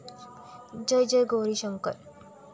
जय जय गौरी शंकर